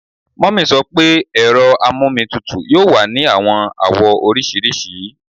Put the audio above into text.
Mummy sọ pe ero amomitutu yoo wa ni awọn awọ oriṣiriṣi